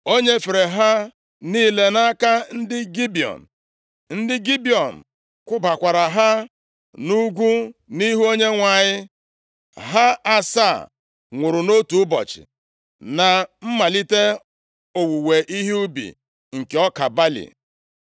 O nyefere ha niile nʼaka ndị Gibiọn; ndị Gibiọn kwụbakwara ha nʼugwu nʼihu Onyenwe anyị. Ha asaa nwụrụ nʼotu ụbọchị na mmalite owuwe ihe ubi nke ọka balị.